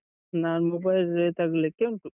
ನಾನ್ mobile ತರ್ಲಿಕ್ಕೆ ಉಂಟು.